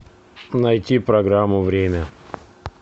найти программу время